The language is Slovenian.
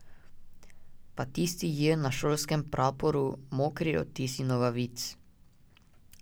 Pa tisti J na šolskem praporu, mokri odtisi nogavic.